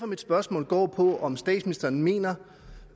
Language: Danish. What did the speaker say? mit spørgsmål går på om statsministeren mener